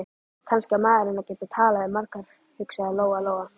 Kannski á maður að geta talað við marga, hugsaði Lóa-Lóa.